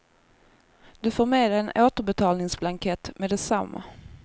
Du får med dig en återbetalningsblankett meddetsamma.